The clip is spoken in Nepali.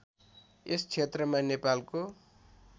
यस क्षेत्रमा नेपालको